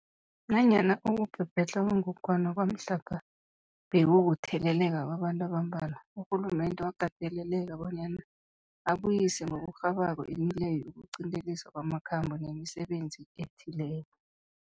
Nanyana ukubhebhedlha kwengogwana kwamhlapha bekukutheleleka kwabantu abambalwa, urhulumende wakateleleka bona abuyise ngokurhabako imileyo yokuqinteliswa kwamakhambo nemisebenzi ethileko.